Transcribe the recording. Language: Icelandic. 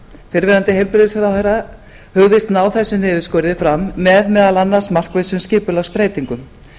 fyrrverandi heilbrigðisráðherra hugðist ná þessum niðurskurði fram með meðal annars markvissum skipulagsbreytingum